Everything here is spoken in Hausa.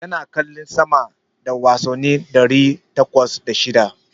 Ya kalli sama da wasanni ɗari takwas da shida.